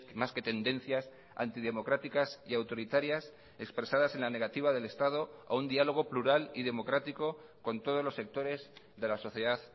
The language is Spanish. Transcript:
más que tendencias antidemocráticas y autoritarias expresadas en la negativa del estado a un diálogo plural y democrático con todos los sectores de la sociedad